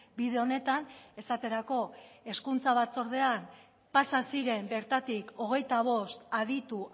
bide honetan esaterako hezkuntza batzordean pasa ziren bertatik hogeita bost aditu